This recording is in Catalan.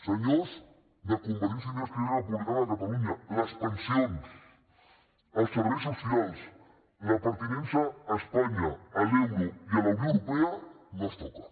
senyors de convergència i unió i d’esquerra republicana de catalunya les pensions els serveis socials la pertinença a espanya a l’euro i a la unió europea no es toquen